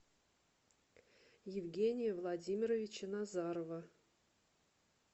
евгения владимировича назарова